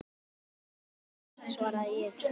Nei, krúttið þitt, svaraði ég.